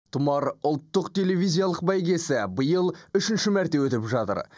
тұмар ұлттық телевизиялық бәйгесі биыл үшінші мәрте өтіп жатыр